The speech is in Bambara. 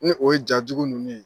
Ni o ye jajugu ninnu ye.